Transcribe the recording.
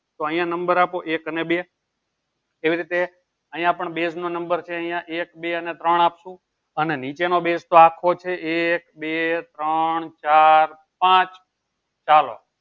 તો અહિયાં number આપો એક અને બે એવી રીતે અહિયાં પણ base નો number છે અહિયાં એક બે અને ત્રોણ આપ્સુ અને નીચેનો base તો આખો છે એક બે ત્રોણ ચાર પાંચ ચાલો.